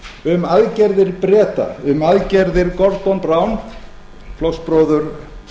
um aðgerðir breta um aðgerðir gordon brown flokksbróður